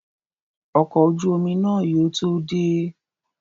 Ọkọ̀ ojú omi náà yóò tó dé